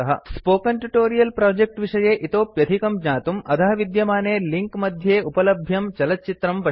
spoken tutorial project विषये इतोप्यधिकं ज्ञातुं अधः विद्यमाने लिंक मध्ये उपलभ्यं चलच्चित्रं पश्यन्तु